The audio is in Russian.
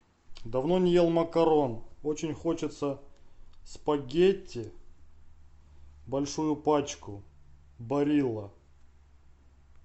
давно не ел макарон очень хочется спагетти большую пачку барилла